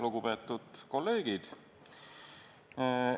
Lugupeetud kolleegid!